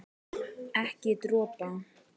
Ekki dropa.